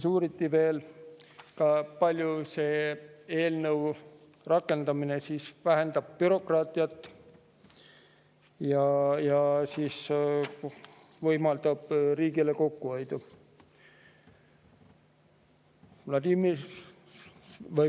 Uuriti veel, kui palju selle eelnõu rakendamine vähendab bürokraatiat ja võimaldab riigile kokkuhoidu.